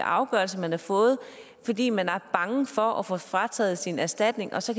afgørelse man har fået fordi man er bange for at få frataget sin erstatning og så